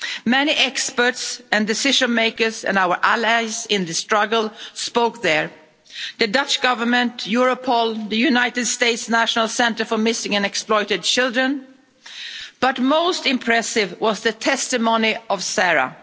Many experts and decision makers and our allies in the struggle spoke there the Dutch Government, Europol, the United States National Center for Missing Exploited Children but most impressive was the testimony of Sarah.